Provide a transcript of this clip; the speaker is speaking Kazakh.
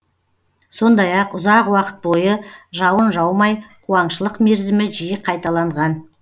сондай ақ ұзақ уақыт бойы жауын жаумай қуаңшылық мерзімі жиі қайталанған